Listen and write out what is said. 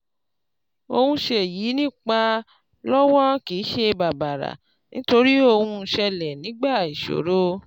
Ohun ṣe yìí nípa lówó kìí ṣe bàbàrà nítorí ohun ṣẹlè nígbà ìṣòro